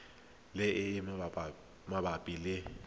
le e e mabapi le